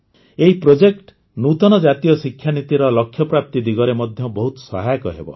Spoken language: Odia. ଏହି ପ୍ରୋଜେକ୍ଟ ନୂତନ ଜାତୀୟ ଶିକ୍ଷାନୀତିର ଲକ୍ଷ୍ୟପ୍ରାପ୍ତି ଦିଗରେ ମଧ୍ୟ ବହୁତ ସହାୟକ ହେବ